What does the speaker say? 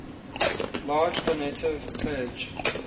large donative pledge